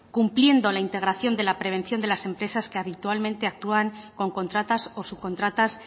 cumpliendo la integración de la prevención de las empresas que habitualmente actúan con contratas o subcontratas